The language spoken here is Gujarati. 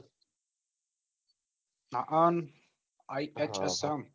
હઅઅન IHSM